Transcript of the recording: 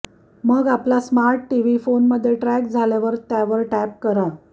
मग आपला smart TV फोनमध्ये ट्रॅक झाल्यावर त्यावर टॅप करा